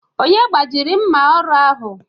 Onye gbajiri mma ọrụ ahụ?